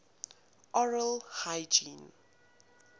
oral hygiene